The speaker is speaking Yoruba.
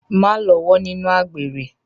Má lọ́wọ́ nínú àgbèrè.